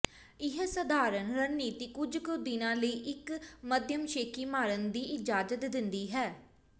ਇਹ ਸਧਾਰਨ ਰਣਨੀਤੀ ਕੁਝ ਕੁ ਦਿਨਾਂ ਲਈ ਇੱਕ ਮੱਧਮ ਸ਼ੇਖੀ ਮਾਰਨ ਦੀ ਇਜਾਜ਼ਤ ਦਿੰਦੀ ਹੈ